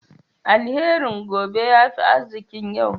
Alherin gobe ya fi arzikin yau.